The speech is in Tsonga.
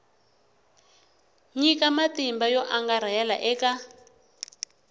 nyika matimba yo angarhela eka